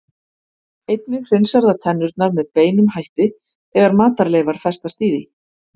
Einnig hreinsar það tennurnar með beinum hætti þegar matarleifar festast í því.